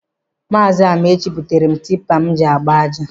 Maazi Amaechi butere m tipa m ji agba aja.